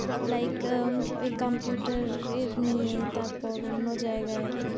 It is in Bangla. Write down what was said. Like a~ a computer টা এর নিয়ে, তারপর অন্য জায়গায়।